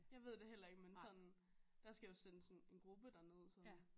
Jeg ved det heller ikke men sådan der skal jo sendes en gruppe derned